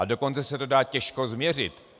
A dokonce se to dá těžko změřit.